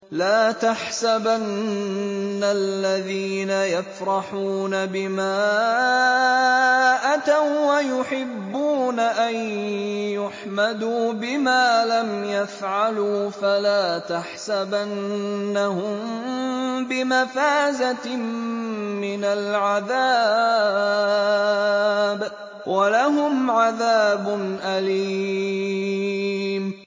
لَا تَحْسَبَنَّ الَّذِينَ يَفْرَحُونَ بِمَا أَتَوا وَّيُحِبُّونَ أَن يُحْمَدُوا بِمَا لَمْ يَفْعَلُوا فَلَا تَحْسَبَنَّهُم بِمَفَازَةٍ مِّنَ الْعَذَابِ ۖ وَلَهُمْ عَذَابٌ أَلِيمٌ